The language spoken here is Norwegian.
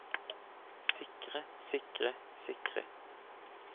sikre sikre sikre